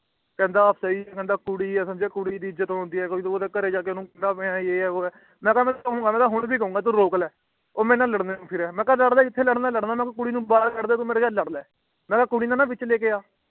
ਕਹਿੰਦਾ ਇਹ ਸਹੀ ਨੀ ਹੈ ਉਹ ਕੁੜੀ ਹੈ ਕੁੜੀ ਦਿ ਕੋਈ ਇੱਜ਼ਤ ਹੁੰਦੀ ਹੈ ਤੂੰ ਉਂਦੇ ਘਰੇ ਜਾਕੇ ਓਹਨੂੰ ਕੁੱਟਦਾ ਪਾਇਆ ਹੈ ਮਈ ਕਿਹਾ ਕਿ ਮੈਂ ਤਾ ਹੋਣ ਵੀ ਜਾਊਂਗਾ ਤੂੰ ਰੋਕ ਲੈ ਉਹ ਮੇਰੇ ਨਾਲ ਲਾਡਾਂ ਨੂੰ ਫਿਰਦਾ ਮਈ ਕਹਿਗਾ ਤੂੰ ਲਾਡ ਲੈ ਤੈਨੂੰ ਜਿਥ੍ਹੇ ਲੜਨਾ ਹੈ ਮਈ ਕਿਹਾ ਜੇ ਤੂੰ ਕੁੜੀ ਨੂੰ ਗਾਲਾਂ ਕੱਦ ਦੇ ਜਾ ਮੇਰੇ ਨਾਲ ਲਾਡ ਲੈ ਮਈ ਕਿਹਾ ਕੁੜੀ ਨੂੰ ਨਾ ਵਿਚੇ ਲੈਕੇ ਆ